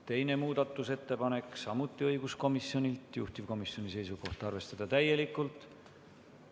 Teine muudatusettepanek on samuti õiguskomisjonilt, juhtivkomisjoni seisukoht on arvestada seda täielikult.